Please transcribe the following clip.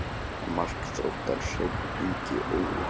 Mark Þróttar: Hreinn Ingi Örnólfsson.